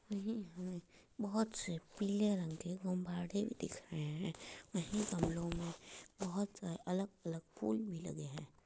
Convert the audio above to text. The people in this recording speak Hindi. लगी हैं। बोहोत से पीले रंग के गुब्बाड़े भी दिख रहे हैं। वहीं गमलो में बोहोत अलग-अलग फूल भी लगे हैं।